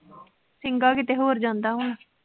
ਸਿੰਘਾ ਕਿਤੇ ਹੋਰ ਜਾਂਦਾ ਵਾ।